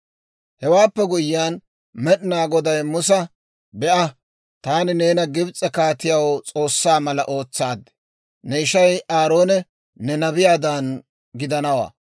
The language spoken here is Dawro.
Hewaappe guyyiyaan Med'inaa Goday Musa, «Be'a; taani neena Gibs'e kaatiyaw S'oossaa mala ootsaad; ne ishay Aaroone ne nabiyaadan gidanawaa;